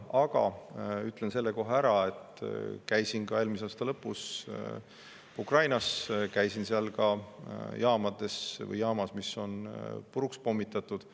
Aga ütlen selle kohe ära, et ma käisin eelmise aasta lõpus Ukrainas ja käisin seal ka jaamas, mis on puruks pommitatud.